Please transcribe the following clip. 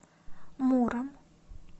муром